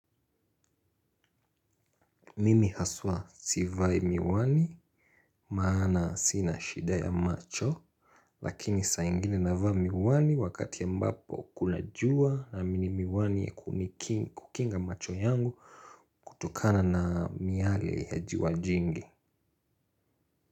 Mimi haswa sivai miwani maana sina shida ya macho. Lakini sa ingine navaa miwani wakati ambapo kuna jua naamini miwani ya kukinga macho yangu kutokana na miyale ya jua jingi.